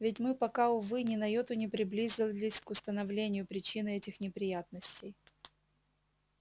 ведь мы пока увы ни на йоту не приблизились к установлению причины этих неприятностей